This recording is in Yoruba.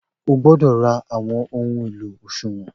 O gbódọ̀ ra àwọn ohun èlò òṣùwọ̀n